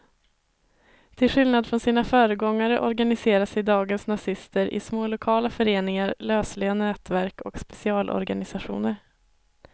Till skillnad från sina föregångare organiserar sig dagens nazister i små lokala föreningar, lösliga nätverk och specialorganisationer.